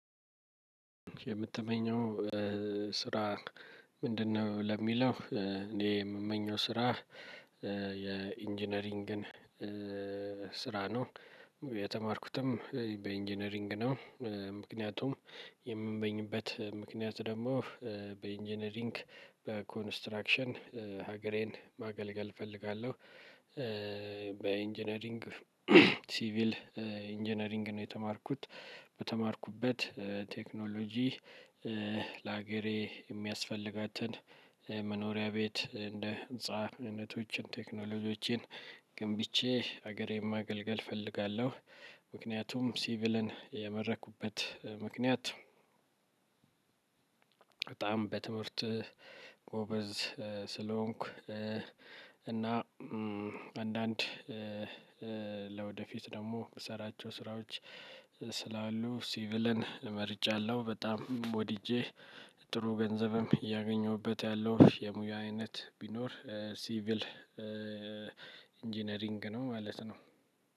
የምትመኘው ስራ ምንድነው? ለሚለው እኔ የምመኘው ስራ የኢንጂነሪንግን ስራ ነው የተማርኩትም በኢንጂነሪንግ ነው። ምክንያቱም የምንበኝበት ምክንያት ደግሞ በኢንጂነሪንግ በኮንስትራክሽን ሀገሬን ማገልገል እፈልጋለሁ። በኢንጂነሪንግ ሲቪል ኢንጂነሪንግ ነው የተማርኩት በተማርኩበት ቴክኖሎጂ። ላገሬ የሚያስፈልጋትን መኖሪያ ቤት እንደ ህንፃነቶችን ቴክኖሎጂዎችን ገንብቼ ሀገሬን ማገልገል እፈልጋለሁ። ምክንያቱም ሲቪልን የመረኩበት ምክንያት። በጣም በትምህርት ጎበዝ ስለሆንኩ። እና አንዳንድ ለወደፊት ደግሞ ምሰራቸው ስራዎች ስላሉ ሲቪልን መርጫለሁ። በጣም ወድጄ ጥሩ ገንዘብም እያገኘሁበት ያለው የሙያ አይነት ቢኖር ሲቪል ኢንጂነሪንግ ነው። ማለት ነው።